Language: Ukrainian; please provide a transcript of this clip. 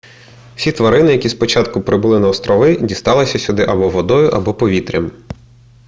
всі тварини які спочатку прибули на острови дісталися сюди або водою або повітрям